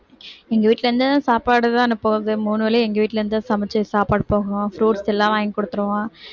எங்க வீட்டில இருந்து தான் சாப்பாடு தான் அனுப்புவாங்க மூணு வேளையும் எங்க வீட்டில இருந்து தான் சமைச்சு சாப்பாடு போகும் fruits எல்லாம் வாங்கி கொடுத்துருவோம்